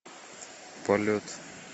полет